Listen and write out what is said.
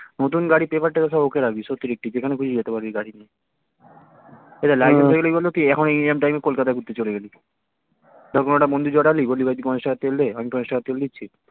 নতুন গাড়ি paper টেপার সব okay রাখবি সত্যি সত্যি যেখানে খুশি যেতে পারবি গাড়ি নিয়ে এই দেখ license হয়ে গেলে কি এইরম time এ তুই কলকাতা ঘুরতে চলে গেলি ধর কোনো একটা বন্ধু জোটালি বললি ভাই তুই পঞ্চাশ টাকার তেল দে আমি পঞ্চাশ টাকার তেল দিচ্ছি